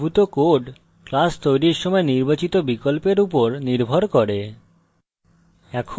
এখানে উদ্ভূত code class তৈরীর সময় নির্বাচিত বিকল্পের উপর নির্ভর করে